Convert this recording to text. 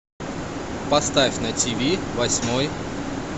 поставь на тиви восьмой